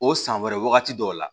O san wɛrɛ wagati dɔw la